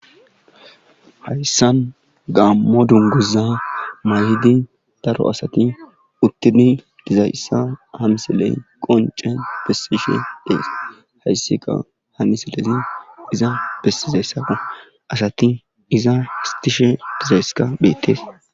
hayssan gammo dunguza mayhidi daro asati uttini dizayssa hamsiley qonce bessishe dees hayssi qa hamiselesi iza bessizayssakko asati iza histishe dizayssika beettes